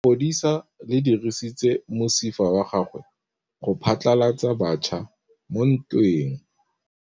Lepodisa le dirisitse mosifa wa gagwe go phatlalatsa batšha mo ntweng.